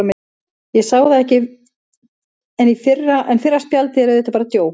Ég sá það ekki, en fyrra spjaldið er auðvitað bara djók.